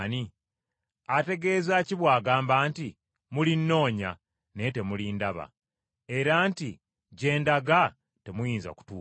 Ategeeza ki bw’agamba nti, ‘Mulinnoonya, naye temulindaba?’ Era nti, ‘Gye ndaga temuyinza kutuukayo?’ ”